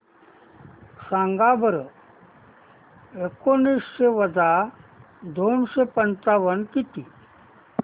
सांगा बरं एकोणीसशे वजा दोनशे पंचावन्न किती